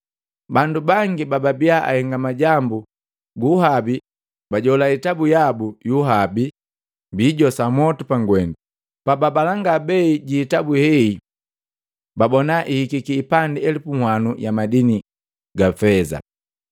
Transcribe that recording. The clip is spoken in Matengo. Bandu bangi bababia ahenga majambu guuhabi bajola hitabu yabo yu uhabi, biijosa mwotu pagwendu. Pababalanga bei jiihitabu hei, babona hihiki hipandi elupu uwano ya madini ya feza.